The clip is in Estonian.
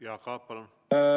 Jaak Aab, palun!